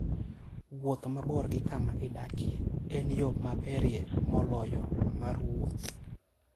Wuoth mabor gi kama idakie en yo maberie moloyo mar wuoth.